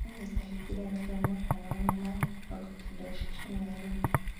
ndagũthaitha hingũrĩra f.m. magana manana ma mĩrongo kenda ceceni ya rĩndiũ